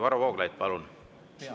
Varro Vooglaid, palun!